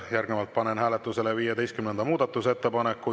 Järgnevalt panen hääletusele 15. muudatusettepaneku.